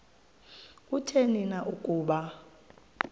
kutheni na ukuba